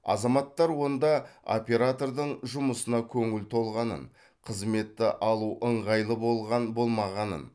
азаматтар онда оператордың жұмысына көңілі толғанын қызметті алу ыңғайлы болған болмағанын